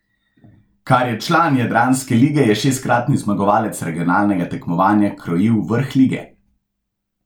Kar je član jadranske lige je šestkratni zmagovalec regionalnega tekmovanja krojil vrh lige.